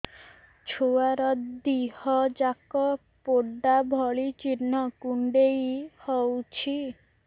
ଛୁଆର ଦିହ ଯାକ ପୋଡା ଭଳି ଚି଼ହ୍ନ କୁଣ୍ଡେଇ ହଉଛି